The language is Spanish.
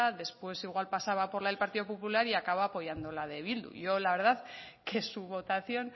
después igual pasaba por la del partido popular y acaba apoyando la de bildu yo la verdad que su votación